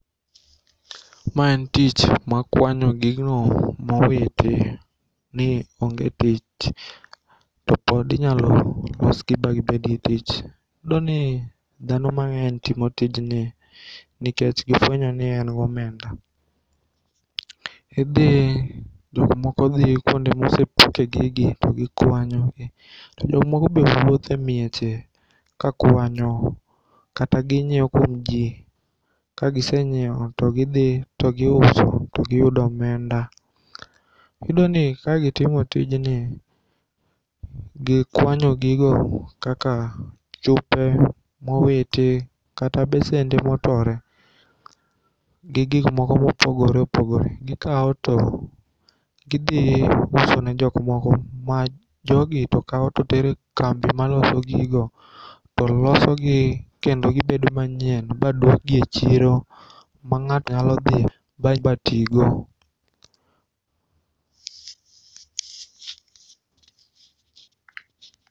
M en tich mar kwanyo gigo mowiti ni onge tich to pod inyalo losgi ba gibedgi tich. Iyudoni dhano mang'eny timo tijni nikech gifwenyoni en gi omenda. Idhi, jokmoko dhi kuonde mosepuke gigi to gikwanyogi to jomoko be wuothe mieche ka kwanyo kata ginyieo kuom jii kagisenyieo togidhi togiuso togiyudo omenda. Iyudoni ka gitimo tijni ,gikwanyo gigo kaka chupe mowiti kata besende motore gi gikmoko mopogore opogore, gikao to gidhiusone jokmoko ma jogi to kao totero e kambi maloso gigo tolosogi kendo gibedo manyien baduokgi e chiro ma ng'ato nyalo dhi ba tigo.